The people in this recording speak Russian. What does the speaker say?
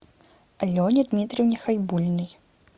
алене дмитриевне хайбуллиной